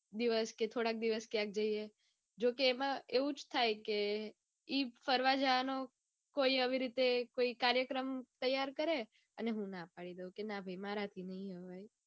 દિવસ કે થોડાક દિવસ ક્યાંક જઇયે. જોકે એમાં એવું જ થાય કે ઈ ફરવા જવાનો એવો કોઈ એવી રીતે કાર્યક્રમ તૈયાર કરે ને હું ના પાડી દઉં. કે ના ભાઈ મરાઠી નઈ આવે.